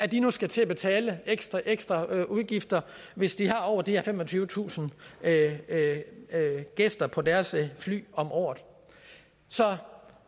de nu skal til at betale ekstra ekstraudgifter hvis de har over de her femogtyvetusind gæster på deres fly om året så